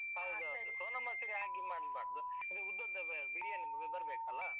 ಸೋನ ಮಸೂರಿ ಹಾಕಿ ಮಾಡ್ಬಾರ್ದು. ಇದು ಉದ್ದ ಉದ್ದ ಅಹ್ ಬಿರಿಯಾನಿ ಬರ್ಬೇಕಲ್ಲಾ.